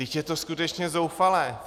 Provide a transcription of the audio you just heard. Vždyť je to skutečně zoufalé!